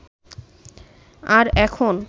আর এখন